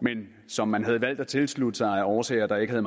men som man havde valgt at tilslutte sig af årsager der ikke